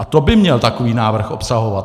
A to by měl takový návrh obsahovat.